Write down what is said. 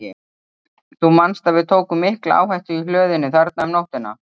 Þú manst að við tókum mikla áhættu í hlöðunni þarna um nóttina?